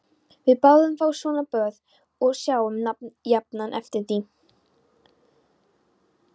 Við þáðum fá svona boð og sáum jafnan eftir því.